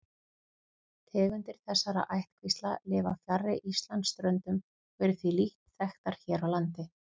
Tegundir þessara ættkvísla lifa fjarri Íslandsströndum og eru því lítt þekktar hér á landi.